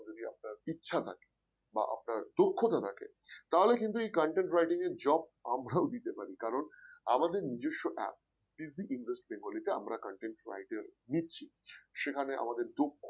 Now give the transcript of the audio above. ইচ্ছা থাকে বা আপনার দক্ষতা থাকে তাহলে কিন্তু এই content writing এর job আমরাও দিতে পারি কারণ আমাদের নিজস্ব app Digit Invest bengali তে আমরা content writer নিচ্ছি সেখানে আমাদের দক্ষ